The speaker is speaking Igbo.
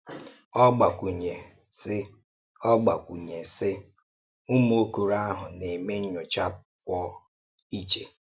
Ọ gbakwụ́nye, sị: Ọ gbakwụ́nye, sị: “Ụ́mụ̀ okòrò ahụ na-eme nnyòchá pụọ iche.